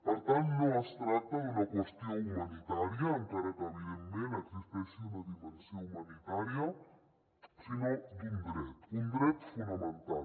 per tant no es tracta d’una qüestió humanitària encara que evidentment hi existeixi una dimensió humanitària sinó d’un dret un dret fonamental